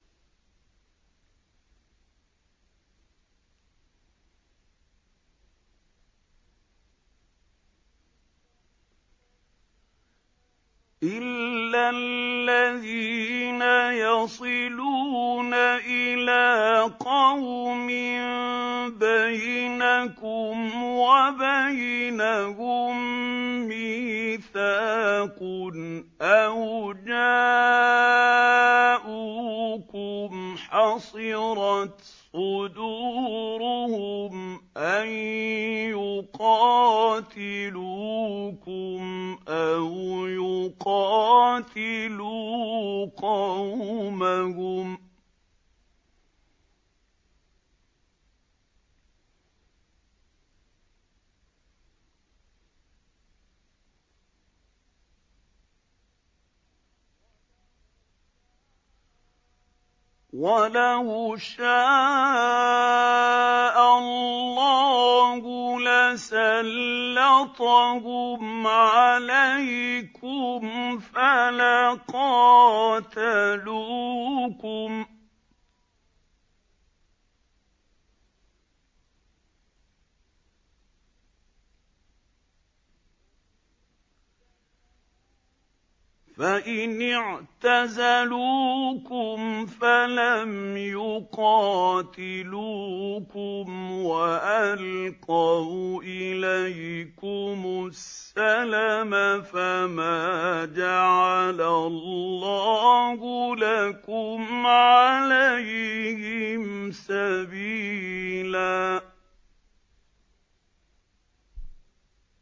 إِلَّا الَّذِينَ يَصِلُونَ إِلَىٰ قَوْمٍ بَيْنَكُمْ وَبَيْنَهُم مِّيثَاقٌ أَوْ جَاءُوكُمْ حَصِرَتْ صُدُورُهُمْ أَن يُقَاتِلُوكُمْ أَوْ يُقَاتِلُوا قَوْمَهُمْ ۚ وَلَوْ شَاءَ اللَّهُ لَسَلَّطَهُمْ عَلَيْكُمْ فَلَقَاتَلُوكُمْ ۚ فَإِنِ اعْتَزَلُوكُمْ فَلَمْ يُقَاتِلُوكُمْ وَأَلْقَوْا إِلَيْكُمُ السَّلَمَ فَمَا جَعَلَ اللَّهُ لَكُمْ عَلَيْهِمْ سَبِيلًا